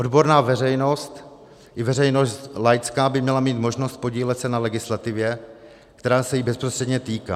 Odborná veřejnost i veřejnost laická by měla mít možnost podílet se na legislativě, která se jí bezprostředně týká.